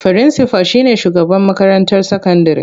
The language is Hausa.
Firinsifal shi ne shugaban makarantar sakandire.